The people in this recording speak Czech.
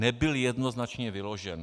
Nebyl jednoznačně vyložen.